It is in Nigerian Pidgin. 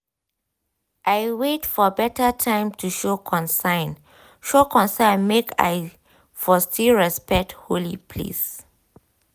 i wait for better time to show concern show concern make i for still respect holy place